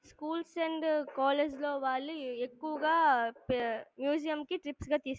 schools and college లో వాళ్ళు ఎక్కువగా ప-మ్యూజియం కి ట్రిప్స్ గా తీసుకెళ్--